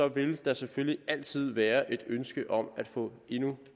vil der selvfølgelig altid være et ønske om at få endnu